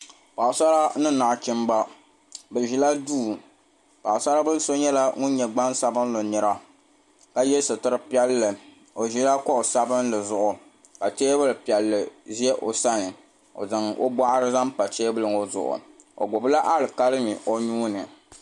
Paɣasara ni nachimba bɛ ʒila duu Paɣasarili so nyɛla ŋun nyɛ gbansabili ka ye sitiri piɛlli o ʒila kuɣu sabinli zuɣu ka teebuli piɛlli ʒɛ o sani o zaŋ o boɣari zaŋ pa teebuli ŋɔ zuɣu o gbibila alikalimi o nuuni.